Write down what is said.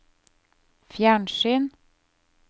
fjernsyn